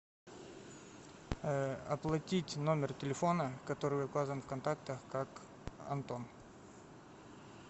оплатить номер телефона который указан в контактах как антон